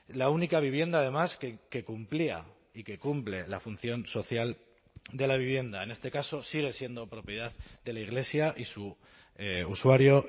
la única vivienda además que cumplía y que cumple la función social de la vivienda en este caso sigue siendo propiedad de la iglesia y su usuario